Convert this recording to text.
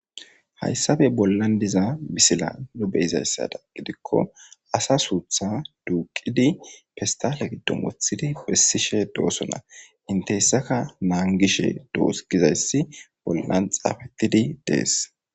Hayssape bollan diza bisila nobe izayssada gidikko asa suutha duuqidi fistale gidom othidi pessishe doosona inte hessaka naangishe doos gizayssi bollan xaafettidi dees